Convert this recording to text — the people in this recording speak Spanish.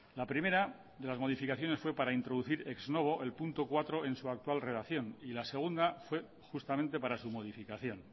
la primera de las modificaciones fue para introducir ex novo el punto cuatro en su actual relación y la segunda fue justamente para su modificación